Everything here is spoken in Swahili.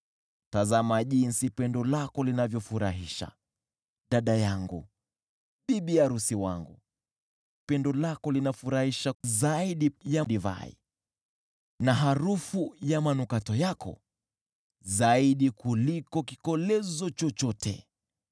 Tazama jinsi pendo lako linavyofurahisha, dada yangu, bibi arusi wangu! Pendo lako linafurahisha aje zaidi ya divai, na harufu ya manukato yako zaidi ya kikolezo chochote!